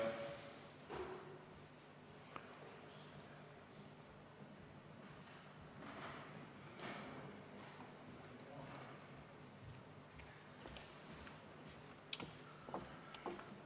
Mart Helme.